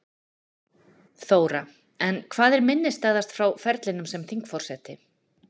Þóra: En hvað er minnisstæðast frá ferlinum sem þingforseti?